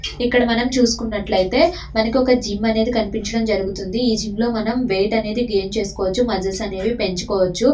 ఇక్కడ మనం చూసుకున్నట్లయితే ఒక జిమ్ అనేది కనిపించడం జరుగుతుంది. జిమ్ లో మనము వెయిట్ అనేది గైన్ చేసుకోవచ్చు. ముస్కల్స్ పెంచుకోవచ్చు.